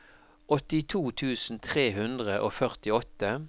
åttito tusen tre hundre og førtiåtte